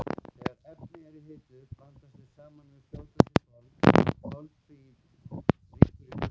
Þegar efnin eru hituð blandast þau saman á fljótandi formi og koltvíildi rýkur burt.